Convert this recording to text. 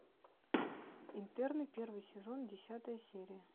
интерны первый сезон десятая серия